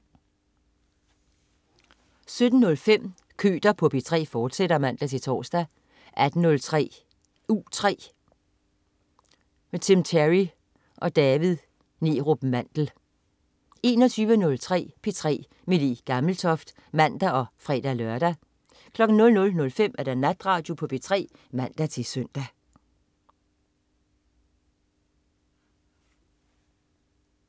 17.05 Køter på P3, fortsat (man-tors) 18.03 U3. Tim Terry og David Neerup Mandel 21.03 P3 med Le Gammeltoft (man og fre-lør) 00.05 Natradio på P3 (man-søn)